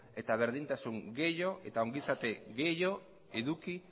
eta berdintasun gehiago eta ongizate gehiago eduki